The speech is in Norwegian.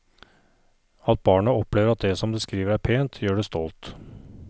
At barnet opplever at det som det skriver, er pent, gjør det stolt.